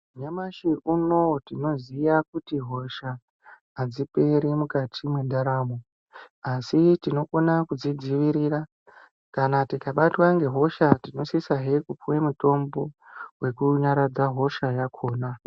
Nyamashi unowu tinoziya kuti hosha adziperi mukati mwendaramo asi tinokona kudzidzivirira kana tikabatwa ngehosha tinosisa he kupuwa mutombo unonyaradza hosha yakhona .